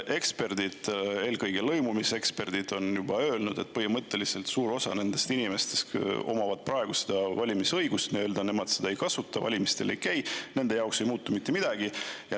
Eksperdid, eelkõige lõimumise eksperdid on juba öelnud, et põhimõtteliselt suur osa nendest inimestest, kes omavad praegu valimisõigust, seda ei kasuta, valimistel ei käi, nende jaoks ei muutu mitte midagi.